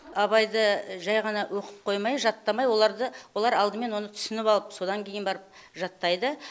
абайды жай ғана оқып қоймай жаттамай оларды олар алдымен оны түсініп алып содан кейін барып жаттайды